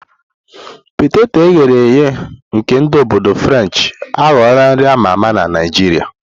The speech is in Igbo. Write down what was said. Peteto eghere eghe nke ndi obodo Frenchi aghọwo nri a ma ama na Naijiria.